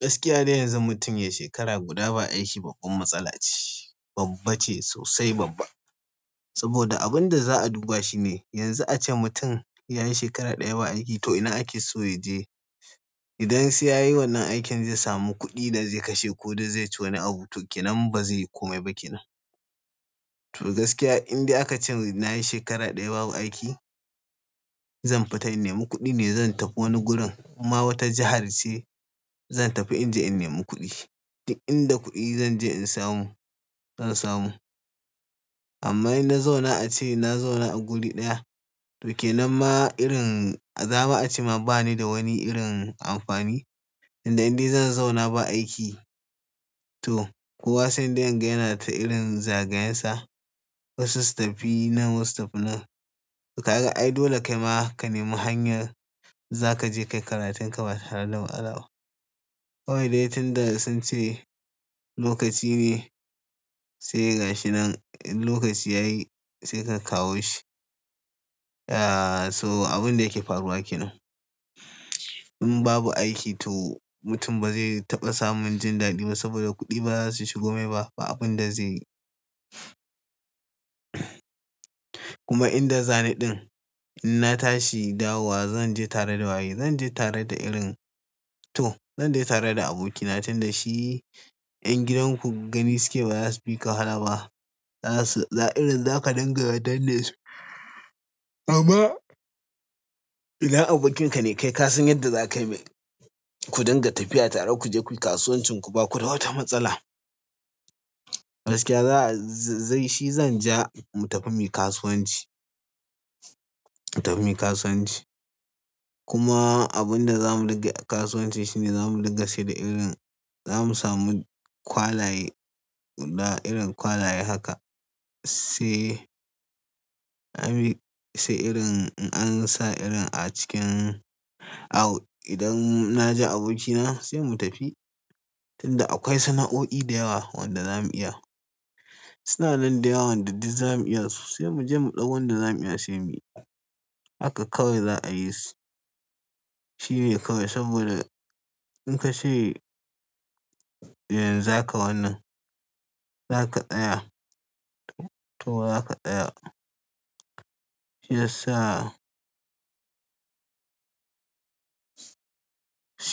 Gaskiya dai yanzu mutum ya yi shekara guda ba aiki, babban matsala ce. Babba ce sosai, babba. Saboda abin da za a duba shi ne, yanzu a ce mutum ya yi shekara ɗaya ba aiki to ina ake so ya je? Idan sai ya yi wannan aikin zai sami kuɗi da zai kashe ko dai zai ci wani abu to ke nan ba zai yi komai ba ke nan. To gaskiya inda aka ce na yi shekara ɗaya babu aiki, zan fita in nemi kuɗi ne. Zan tafi wani gurin inma wata jahar ce, zan tafi in je in nemi kuɗi. Inda kuɗi zan je in samu, zan samu. Amma inna zauna a ce na zauna a guri ɗaya to ke nan ma irin, za ma a ce ma ba ni da wani irin amfani. Inda indai zan zauna ba aiki to kowa sai dai yana ta irin zagayensa. Wasu su tafi nan wasu su tafi nan. To ka ga ai dole kai ma ka nemi hanyar za ka je ka yi karatun ka ba tare da matsala ba. Kawai dai tun da sun ce lokaci ne, sai gashi nan in lokaci ya yi sai ka kawo shi. Ya, so abin da yake faruwa ke nan. In babu aiki to mutum ba zai taɓa samun jin daɗi ba saboda kuɗi ba za su shigo mai ba. Ba abin da zai. Kuma inda zani ɗin in natshi dawowa zanje tare da waye? Zanje tare da irin to zanje tare da abokina tun da shi ƴan gidanku gani suke bazasu fika wahala ba za su, irin za ka dinga danne su. Amma idan abokinka ne kai ka san yadda za kai mai. Ku dinga tafiya tare ku je kuyi kasuwancin ku ba ku da wata matsala. Gaskiya za a, zai shi zan ja mu tafi muyi kasuwanci, mu tafi muyi kasuwanci. Kuma abin da za mu riƙe a kasuwanci shi ne za mu riƙa shaida irin, za mu samu kwalaye guda, irin kwalaye haka. Sai, anyi sai irin an sa irin a cikin au, idan na je abokina sai mu tafi tunda akwai sana'o'i da yawa wanda za mu iya. Suna nan daa yawa wanda duk za mu iya, sosai mu je mu ɗau wanda za mu iya sai mu yi. Haka kawai za a yisu. Shi ne kawai saboda in ka ce za ka wannan, za ka tsaya to za ka tsaya. Shi yasa,